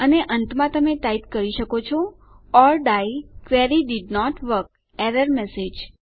અને અંતમાં તમે ટાઈપ કરી શકો છો or the query didn't work error message